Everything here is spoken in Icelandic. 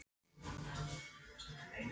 Nefni engin nöfn Hefurðu skorað sjálfsmark?